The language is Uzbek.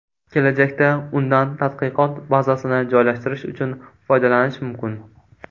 Kelajakda undan tadqiqot bazasini joylashtirish uchun foydalanish mumkin.